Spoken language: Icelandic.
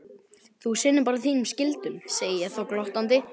Þú sinnir bara þínum skyldum, segði ég þá glottandi.